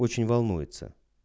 очень волнуется